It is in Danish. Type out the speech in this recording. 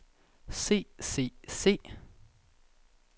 se se se